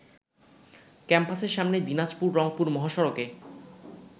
ক্যাম্পাসের সামনে দিনাজপুর-রংপুর মহাসড়কে